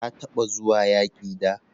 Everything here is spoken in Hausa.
Ka taba zuwa yaki da?